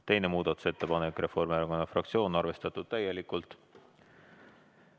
Teine muudatusettepanek, esitajaks Reformierakonna fraktsioon, arvestatud täielikult.